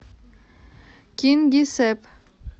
кингисепп